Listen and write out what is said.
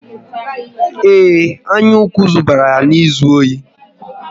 Ee, anyaukwu dubara ya n'izu ohi